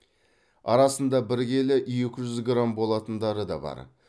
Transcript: арасында бір келі екі жүз грамм болатындары да бар